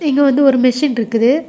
இங்க வந்து ஒரு மெஷின் இருக்குது.